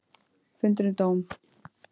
Fundur um dóm